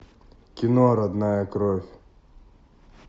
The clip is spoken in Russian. кино родная кровь